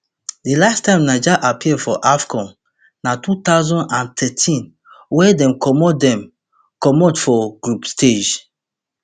di last time niger appear for afcon na two thousand and thirteen wia dem comot dem comot for group stage